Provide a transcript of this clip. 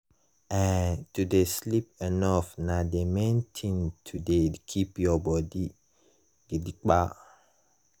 eh to dey sleep enough nah the main tin to dey keep your body gidigba.